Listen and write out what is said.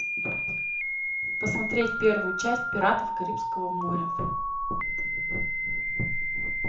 посмотреть первую часть пиратов карибского моря